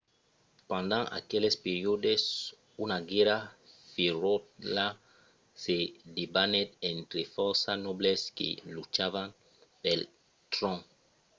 pendent aqueles periòdes una guèrra ferotja se debanèt entre fòrça nobles que luchavan pel tròn